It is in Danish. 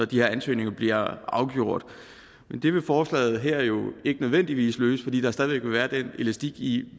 de her ansøgninger bliver afgjort det vil forslaget her jo ikke nødvendigvis løse fordi der stadig væk vil være den elastik i